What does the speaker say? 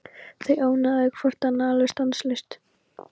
Þau ónáðuðu hvort annað alveg stanslaust.